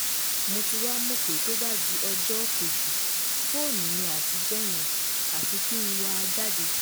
mo ti wáá mọ̀ pé tó bá di ọjọ́ kejì fóònù mi àtijọ́ yẹn àfi kí n wà á jáde